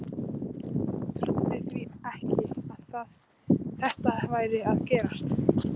Trúði því ekki að þetta væri að gerast.